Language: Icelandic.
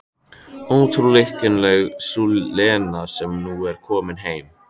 Óútreiknanleg sú Lena sem nú er komin heim.